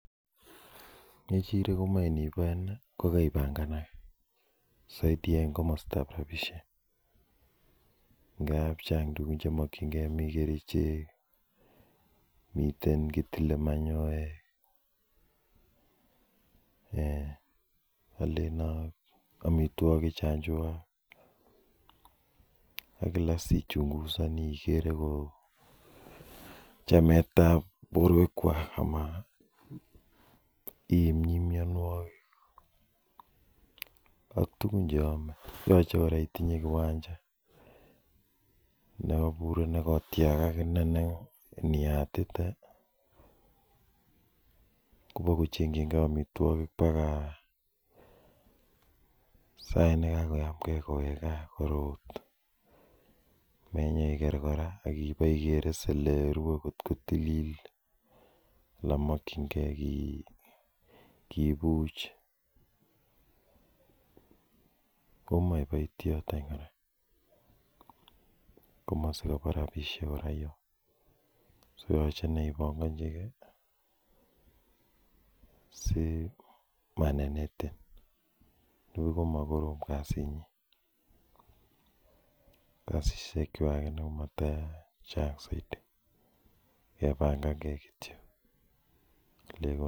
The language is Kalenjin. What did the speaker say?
Ng'chirek komoe inibae kokoibanganage, en kamastab rabisiek. Ingab Chang tukuk chemakienge mi kerichek, miten kitele manyoek alen ak amituakik chon chuak ak kilaen chametabke en boruekuak ime mianuoki ak tugun cheame yache itinye kiwanja sikobit kotiakak , kit neo iniyatite kobokochenchike amituakik baka sait nekakoweg kaa korot menyeker kora akoker elerue kot ko tilil anan makienge kibuche, komache kiboityot en kora en kamasi kabo rabisiek ibankachike simanenetin nibuch kokorom kasit nyin kasisiek kwak komatachang saiti kebanganke kityo